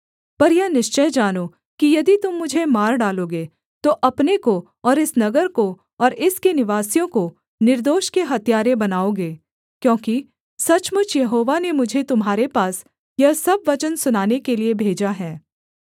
पर यह निश्चय जानो कि यदि तुम मुझे मार डालोगे तो अपने को और इस नगर को और इसके निवासियों को निर्दोष के हत्यारे बनाओगे क्योंकि सचमुच यहोवा ने मुझे तुम्हारे पास यह सब वचन सुनाने के लिये भेजा है